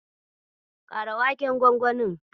Kara waken gwangwanin.